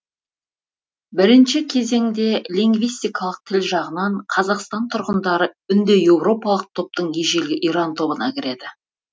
бірінші кезеңде лингвистикалық тіл жағынан қазақстан тұрғындары үндіеуропалық топтың ежелгі иран тобына кіреді